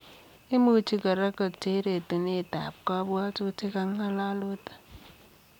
Imuchii koraa koter etuneet ap kabwatutik ak ngalalutik